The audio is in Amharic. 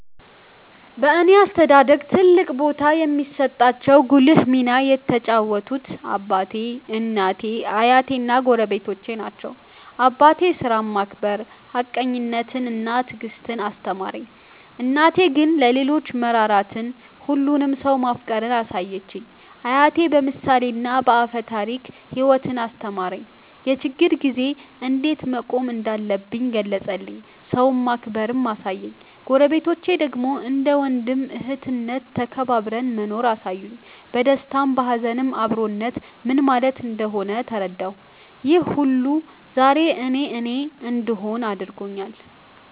በእኔ አስተዳደግ ትልቅ ቦታ የሚሰጣቸው ጉልህ ሚና የተጫወቱት አባቴ፣ እናቴ፣ አያቴ እና ጎረቤቶቼ ናቸው። አባቴ ሥራን ማክበር፣ ሀቀኝነትን እና ትዕግስትን አስተማረኝ። እናቴ ግን ለሌሎች መራራትን፣ ሁሉንም ሰው ማፍቀርን አሳየችኝ። አያቴ በምሳሌና በአፈ ታሪክ ሕይወትን አስተማረኝ፤ የችግር ጊዜ እንዴት መቆም እንዳለብኝ ገለጸልኝ፤ ሰውን ማክበርንም አሳየኝ። ጎረቤቶቼ ደግሞ እንደ ወንድም እህትነት ተከባብረን መኖርን አሳዩኝ፤ በደስታም በሀዘንም አብሮነት ምን ማለት እንደሆነ ተረዳሁ። ይህ ሁሉ ዛሬ እኔ እኔ እንድሆን አድርጎኛል።